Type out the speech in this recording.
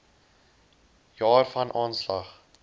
jaar van aanslag